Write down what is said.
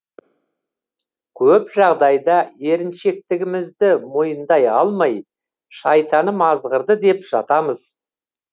көп жағдайда еріншектігімізді мойындай алмай шайтаным азғырды деп жатамыз